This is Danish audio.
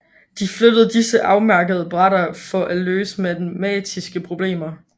De flyttede disse på afmærkede brætter for at løse matematiske problemer